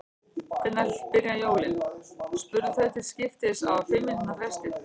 Hvenær byrja jólin? spurðu þau til skiptist á fimm mínútna fresti.